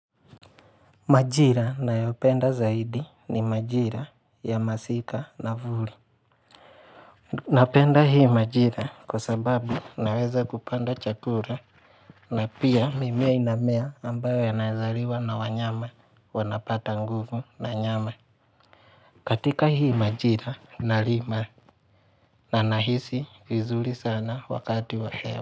Majira nayopenda zaidi ni majira ya masika na vuli Napenda hii majira kwa sababu naweza kupanda chakula na pia mimea inamea ambayo yanaeza liwa na wanyama wanapata nguvu na nyama katika hii majira nalima na nahisi vizuri sana wakati wa hewa.